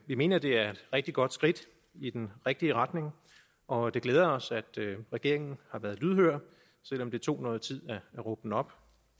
vi mener det er et rigtig godt skridt i den rigtige retning og det glæder os at regeringen har været lydhør selv om det tog noget tid at råbe den op